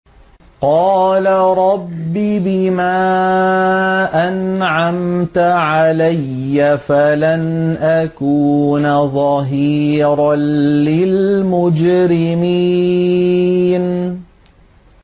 قَالَ رَبِّ بِمَا أَنْعَمْتَ عَلَيَّ فَلَنْ أَكُونَ ظَهِيرًا لِّلْمُجْرِمِينَ